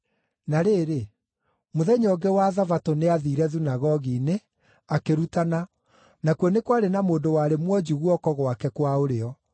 Na rĩrĩ, mũthenya ũngĩ wa Thabatũ nĩathiire thunagogi-inĩ, akĩrutana, nakuo nĩ kwarĩ na mũndũ warĩ mwonju guoko gwake kwa ũrĩo.